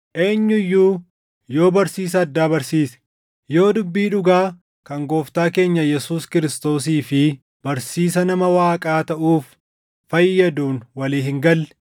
Eenyu iyyuu yoo barsiisa addaa barsiise, yoo dubbii dhugaa kan Gooftaa keenya Yesuus Kiristoosii fi barsiisa nama Waaqaa taʼuuf fayyaduun walii hin galle,